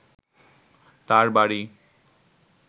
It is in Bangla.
তার বাড়ি